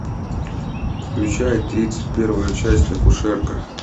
включай тридцать первая часть акушерка